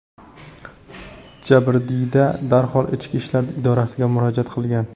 Jabrdiyda darhol ichki ishlar idorasiga murojaat qilgan.